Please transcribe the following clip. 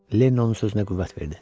Lenni onun sözünə qüvvət verdi.